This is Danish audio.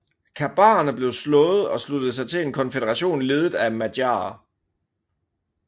Kabarerne blev slået og sluttede sig til en konføderation ledet af madjarer